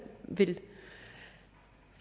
vil